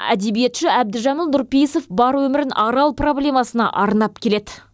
әдебиетші әбдіжәміл нұрпейісов бар өмірін арал проблемасына арнап келеді